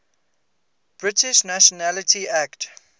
british nationality act